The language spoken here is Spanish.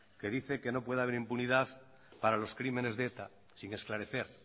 que dice que no puede haber impunidad para los crímenes de eta sin esclarecer